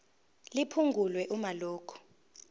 liphungulwe uma lokhu